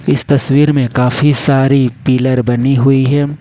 इस तस्वीर में काफी सारी पिलर बनी हुई है।